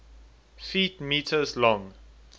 ft m long